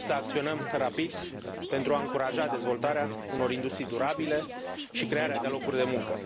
Trebuie să acționăm rapid pentru a încuraja dezvoltarea unor industrii durabile și crearea de locuri de muncă.